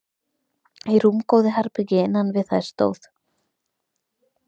Í rúmgóðu herbergi innan við þær stóð